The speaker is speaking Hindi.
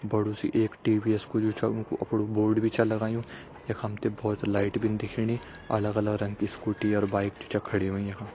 बड़ु सा इक टी.वी.एस कु जु छा उं का अपड़ु बोर्ड छा लगायुं यख हम ते बहोत लाइट भीन दिखेणी अलग अलग रंग की स्कूटी अर बाइक जु छ खड़ी होईं यखम।